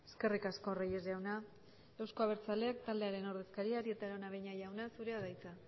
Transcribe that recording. eskerrik asko reyes jauna euzko abertzaleak taldearen ordezkaria arieta araunabeña jauna zurea da hitza